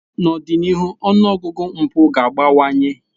N'ọdịnihu, ọnụ ọgụgụ mpụ ga-abawanye.